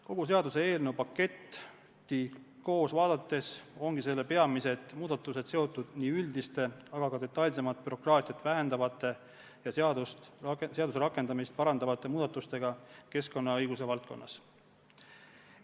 Kogu paketti koos vaadates ongi näha, et selle peamised muudatused on seotud nii üldiste, aga ka detailsemalt bürokraatiat vähendavate ja seaduse rakendamist parandavate muudatustega keskkonnaõiguse valdkonnas.